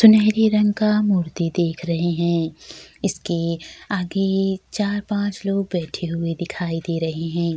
सुनहरे रंग का मूर्ति देख रहे है इसके आगे चार पाँच लोग बैठे हुए दिखाई दे रहे हैं।